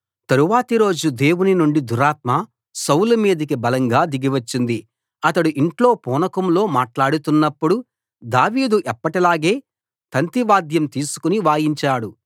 తరువాతి రోజు దేవుని నుండి దురాత్మ సౌలు మీదికి బలంగా దిగి వచ్చింది అతడు ఇంట్లో పూనకంలో మాట్లాడుతున్నప్పుడు దావీదు ఎప్పటిలాగే తంతి వాద్యం తీసుకుని వాయించాడు